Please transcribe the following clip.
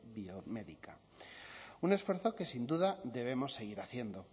biomédica un esfuerzo que sin duda debemos seguir haciendo